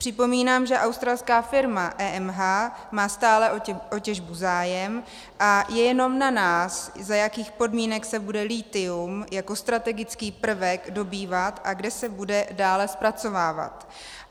Připomínám, že australská firma EMH má stále o těžbu zájem a je jenom na nás, za jakých podmínek se bude lithium jako strategický prvek dobývat a kde se bude dále zpracovávat.